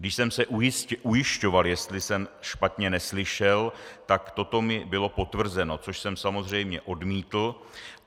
Když jsem se ujišťoval, jestli jsem špatně neslyšel, tak toto mi bylo potvrzeno, což jsem samozřejmě odmítl.